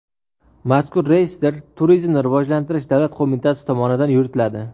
Mazkur reyestr Turizmni rivojlantirish davlat qo‘mitasi tomonidan yuritiladi.